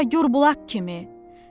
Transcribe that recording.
çağla gur bulaq kimi.